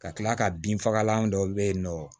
Ka kila ka bin fagalan dɔ be yen nɔ